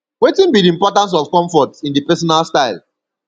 wetin be di importance of comfort in di personal style